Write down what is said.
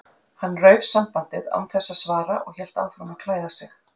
Hann rauf sambandið án þess að svara og hélt áfram að klæða sig.